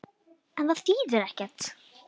En það þýðir ekkert.